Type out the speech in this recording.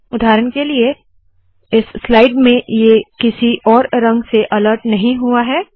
उदाहरण के लिए इस स्लाइड में ये किसी और रंग से अलर्ट नहीं हुआ है